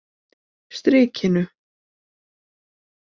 Strikinu